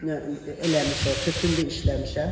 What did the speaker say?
Tütün eləmişik, tütündə işləmişəm.